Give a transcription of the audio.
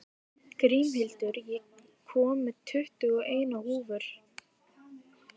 Grímhildur, ég kom með tuttugu og eina húfur!